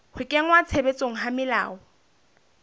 ho kenngwa tshebetsong ha melao